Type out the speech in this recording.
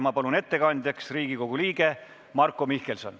Ma palun ettekandjaks Riigikogu liikme Marko Mihkelsoni.